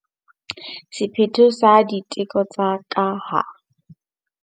Sephetho sa diteko tsa ka ha.